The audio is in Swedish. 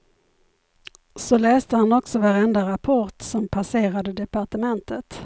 Så läste han också varenda rapport som passerade departementet.